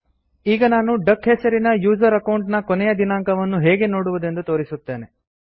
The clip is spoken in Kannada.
ಈಗ ನಾನು ಡಕ್ ಹೆಸರಿನ ಯೂಸರ್ ಅಕೌಂಟ್ ನ ಕೊನೆಯ ದಿನಾಂಕವನ್ನು ಹೇಗೆ ನೋಡುವುದೆಂದು ತೋರಿಸುತ್ತೇನೆ